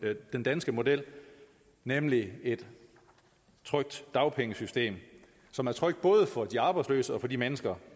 den danske model nemlig et trygt dagpengesystem som er trygt både for de arbejdsløse og for de mennesker